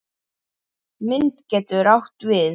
Mynd getur átt við